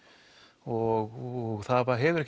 og það hefur